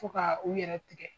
Fo ka u yɛrɛ tigɛ.